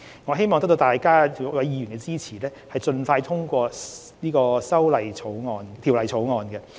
我希望得到議員支持，盡快通過《條例草案》。